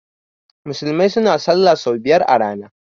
Musulmai suna sallah sau biyar a rana